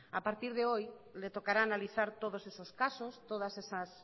a partir de hoy le tocará analizar todos esos casos todas esas